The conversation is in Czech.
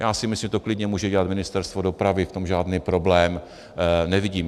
Já si myslím, že to klidně může dělat Ministerstvo dopravy, v tom žádný problém nevidím.